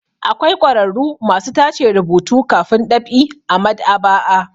Akwai ƙwararru masu tace rubutu kafin ɗab'i a maɗ'aba'a.